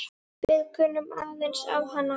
Við kunnum aðeins á hana.